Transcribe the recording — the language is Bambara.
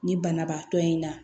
Ni banabaatɔ in na